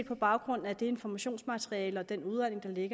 på baggrund af det informationsmateriale og den udredning